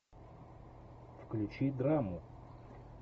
включи драму